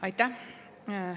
Aitäh!